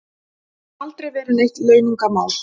Aldrei verið neitt launungarmál